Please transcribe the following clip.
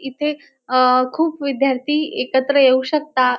इथे अ खूप विद्यार्थी एकत्र येऊ शकता.